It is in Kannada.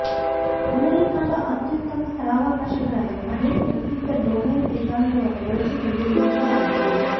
ಅಮೆರಿಕಾದ ಅತ್ಯುತ್ತಮ ಸ್ಥಳಾವಕಾಶಗಳನ್ನು ಅನೇಕ ಪ್ರಸಿದ್ಧ ಡೊಮೇನ್ ಸಿದ್ಧಾಂತವನ್ನು ಬಳಸಿಕೊಂಡು ರಚಿಸಲಾಗಿದೆ